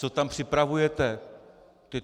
Co tam připravujete?